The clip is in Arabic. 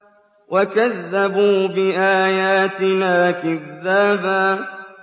وَكَذَّبُوا بِآيَاتِنَا كِذَّابًا